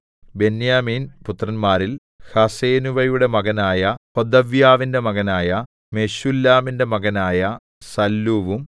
ബെന്യാമീൻ പുത്രന്മാരിൽ ഹസ്സെനൂവയുടെ മകനായ ഹോദവ്യാവിന്റെ മകനായ മെശുല്ലാമിന്റെ മകനായ സല്ലൂവും